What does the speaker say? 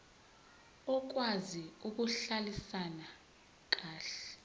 okwazi ukuhlalisana kahle